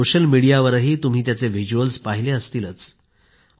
social मीडियावरही तुम्ही त्याचे व्हिज्युअल पाहिले असतीलच